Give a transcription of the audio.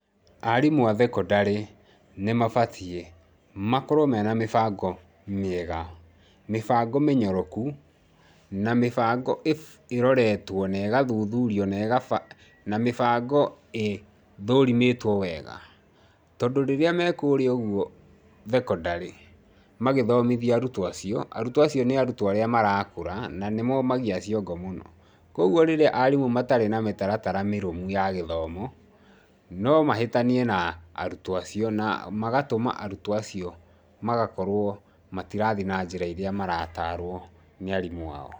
Arimũ a thekondarĩ nĩ mabatiĩ makorwo mena mĩbango mĩega, mĩbango mĩnyoroku, na mĩbango ĩroretwo na ĩgathuthurio, na ĩgabangwo na mĩbango ĩthũrimĩtwo wega. Tondũ rĩrĩa me kũrĩa ũguo thekondarĩ magĩthomithia arutwo acio, arutwo acio nĩ arutwo acio nĩ arĩa marakũra na nĩ moomagia ciongo mũno. Kwoguo rĩrĩa arimũ matarĩ na mĩtaratara mĩrũmu ya githomo, no mahĩtanie na arutwo acio, na magatũma arutwo acio magakorwo matirathi na njĩra ĩrĩa marataarwo nĩ arimũ ao.